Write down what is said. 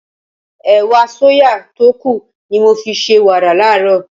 Ẹ̀wà sóyà tó kù ni mo fi ṣe wàrà láàárọ̀.